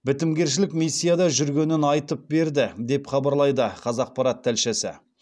бітімгершілік миссияда жүргенін айып берді деп хабарлайды қазақпарат тілшісі